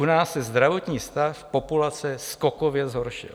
U nás se zdravotní stav populace skokově zhoršil.